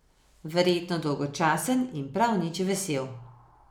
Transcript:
Verjetno dolgočasen in prav nič vesel.